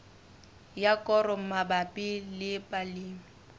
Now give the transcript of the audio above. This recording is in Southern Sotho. ya koro mabapi le balemi